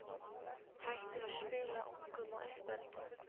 hættir að spila ungum og uppöldum?